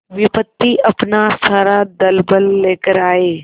विपत्ति अपना सारा दलबल लेकर आए